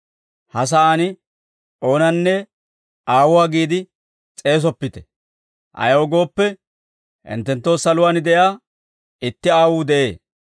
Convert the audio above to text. Ha sa'aan oonanne ‹Aawuwaa› giide s'eesoppite; ayaw gooppe, hinttenttoo saluwaan de'iyaa itti Aawuu de'ee.